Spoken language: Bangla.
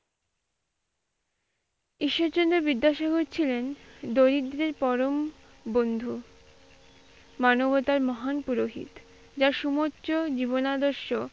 ঈশ্বরচন্দ্র বিদ্যাসাগর ছিলেন দরিদ্রের পরম বন্ধু। মানবতার মহান পুরোহিত। যার সমস্ত জীবন আদর্শ,